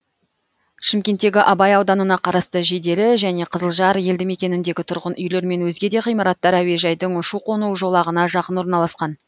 шымкенттегі абай ауданына қарасты жиделі және қызылжар елді мекеніндегі тұрғын үйлер мен өзге де ғимараттар әуежайдың ұшу қону жолағына жақын орналасқан